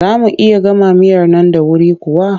Za mu iya gama miyar nan da wuri kuwa?